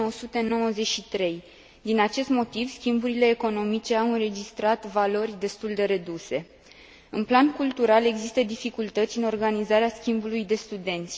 1993. Din acest motiv, schimburile economice au înregistrat valori destul de reduse. În plan cultural există dificultăți în organizarea schimbului de studenți.